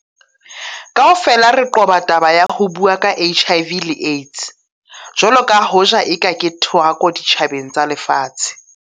Kaofela re qoba taba ya ho bua ka HIV le AIDS - jwalo ka hoja eka ke thohako ditjhabeng tsa lefatshe.